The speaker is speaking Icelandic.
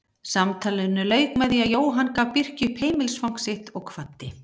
Samtalinu lauk með því að Jóhann gaf Birki upp heimilisfang sitt og kvaddi.